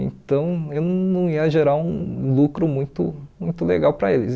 Então, eu não ia gerar um lucro muito muito legal para eles.